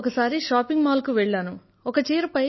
నేను తనతో ఒకసారి ఒక షాపింగ్ మాల్ కు వెళ్లాను